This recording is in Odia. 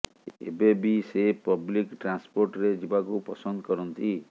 ଏବେ ବି ସେ ପବ୍ଲିକ ଟ୍ରାନ୍ସପୋର୍ଟରେ ଯିବାକୁ ପସନ୍ଦ କରନ୍ତି